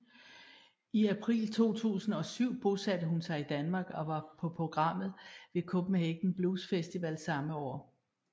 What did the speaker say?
I april 2007 bosatte hun sig i Danmark og var på programmet ved Copenhagen Blues Festival samme år